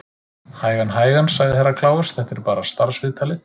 Hægan, hægan, sagði Herra Kláus, þetta er bara starfsviðtalið.